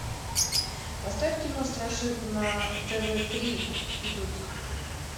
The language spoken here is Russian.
поставь кино страшилку на тв три идут